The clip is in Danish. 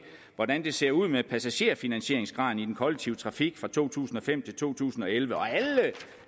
hvordan det ser ud med passagerfinansieringsgraden i den kollektive trafik fra to tusind og fem til to tusind og elleve og